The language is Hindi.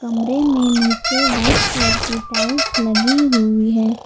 कमरे में नीचे वाइट कलर की टाइल्स लगी हुई है।